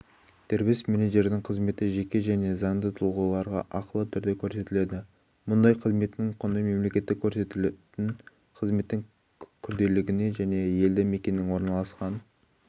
дербес менеджердің қызметі жеке және заңды тұлғаларға ақылы түрде көрсетіледі мұндай қызметтің құны мемлекеттік көрсетілетін қызметтің күрделілігіне және елді мекеннің орналасқан